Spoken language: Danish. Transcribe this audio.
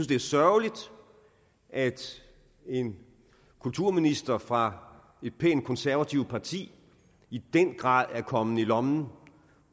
det er sørgeligt at en kulturminister fra et pænt konservativt parti i den grad er kommet i lommen